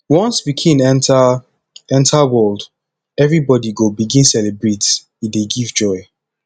once pikin enta enta world everybodi go begin celebrate e dey give joy